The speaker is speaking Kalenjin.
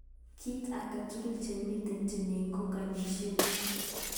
Kit angetugul chemiten timin ko ngalishet.